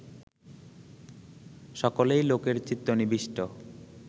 সকলেই লোকের চিত্ত নিবিষ্ট